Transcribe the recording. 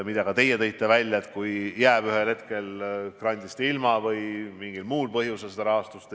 Nagu teiegi esile tõite, ühel hetkel võidakse jääda grandist ilma või mingil muul põhjusel ei tule rahastust.